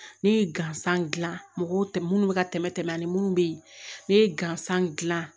Ne ye gansan dilan mɔgɔw tɛ minnu bɛ ka tɛmɛ ani minnu bɛ yen ne ye gansan dilan